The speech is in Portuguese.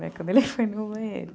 Quando ele foi no banheiro.